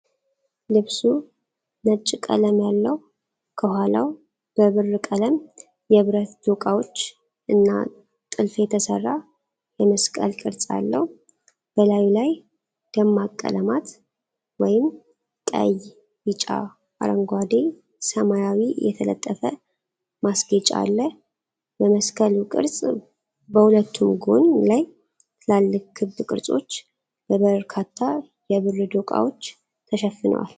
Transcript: ልብሱ ነጭ ቀለም ያለው፣ ከኋላው በብር-ቀለም የብረት ዶቃዎች እና ጥልፍ የተሰራ የመስቀል ቅርጽ አለው። በላዩ ላይ ደማቅ ቀለማት (ቀይ፣ ቢጫ፣ አረንጓዴ፣ ሰማያዊ) የተጠለፈ ማስጌጫ አለ። በመስቀሉ ቅርፅ በሁለቱም ጎን ላይ ትላልቅ ክብ ቅርጾች በበርካታ የብር ዶቃዎች ተሸፍነዋል።